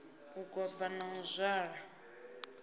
u goba na u zwala